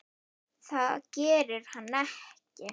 Það gerir hann ekki!